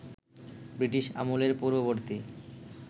British আমলের পূর্ববর্তী